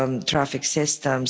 traffic.